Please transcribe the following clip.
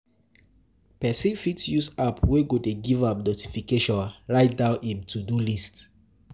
Person fit use apps wey go dey give am notification write down im to-do list